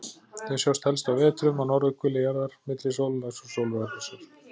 Þau sjást helst á vetrum á norðurhveli jarðar, milli sólarlags og sólarupprásar.